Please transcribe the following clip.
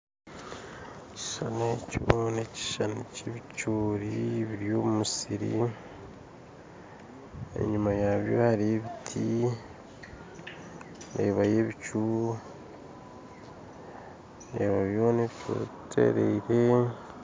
Ekishushani ekyo nekishushani ky'ebicoori biri omumusiri enyuma yabyo hariyo ebiti ndeebayo ebicu ndeeba byoona ebicoori bitereire.